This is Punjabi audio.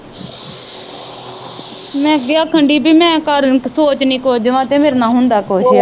ਮੈ ਅੱਗੇ ਆਖਣ ਦੀ ਹੀ ਪੀ ਮੈ ਸੋਚਣੀ ਕੁਝ ਆ ਵਾ ਤੇ ਮੇਰੇ ਨਾ ਹੁੰਦਾ ਕੁਝ ਆ